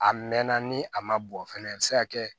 A mɛnna ni a ma bɔn fɛnɛ a bɛ se ka kɛ